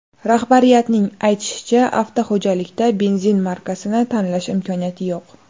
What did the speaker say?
Rahbariyatning aytishicha, avtoxo‘jalikda benzin markasini tanlash imkoniyati yo‘q.